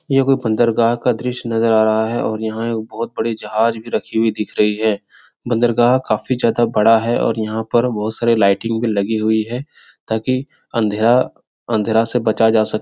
यह कोई बंदरगाह का दृश्य नजर आ रहा है और यहाँ बहुत बड़े जहाज भी रखी हुई दिख रही है । बंदरगाह काफी ज्यादा बड़ा है और यहाँ पर बहुत सारे लाइटिंग भी लगी हुई है ताकि अँधेरा-अँधेरा से बचा जा सक --